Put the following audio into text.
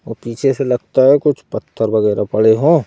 और पीछे से लगता है कुछ पत्थर वगैरह पड़े हो।